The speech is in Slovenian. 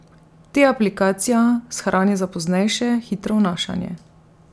Te aplikacija shrani za poznejše hitro vnašanje.